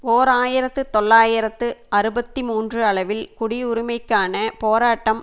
ஓர் ஆயிரத்து தொள்ளாயிரத்து அறுபத்தி மூன்று அளவில் குடியுரிமைக்கான போராட்டம்